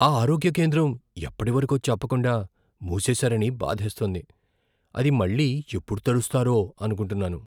ఆ ఆరోగ్య కేంద్రం ఎప్పటివరకో చెప్పకుండా మూసేసారని బాధేస్తోంది, అది మళ్లీ ఎప్పుడు తెరుస్తారో అనుకుంటున్నాను.